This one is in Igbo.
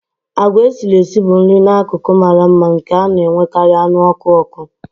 Agwa esiri esi bụ nri n'akụkụ mara mma nke a na-enwekarị anụ ọkụ n'ọkụ.